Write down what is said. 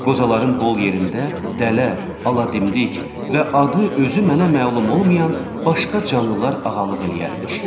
Qozaların bol yerində dələ, aladimdiq və adı özü mənə məlum olmayan başqa canlılar ağalılıq eləyərmiş.